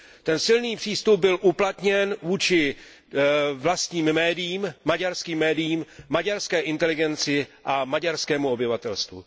Ten silný přístup byl uplatněn vůči vlastním médiím, maďarským médiím, maďarské inteligenci a maďarskému obyvatelstvu.